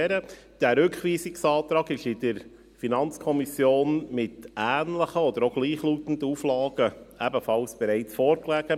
Dieser Rückweisungsantrag lag in der FiKo mit ähnlichen oder gleichlautenden Auflagen ebenfalls bereits vor.